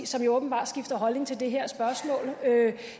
som jo åbenbart skifter holdning til det her spørgsmål